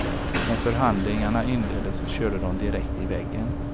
När förhandlingarna inleddes körde de direkt i väggen.